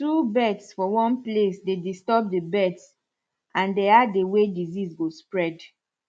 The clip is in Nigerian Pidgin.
too bird for one place dey disturb the birds and dey add the way disease go spread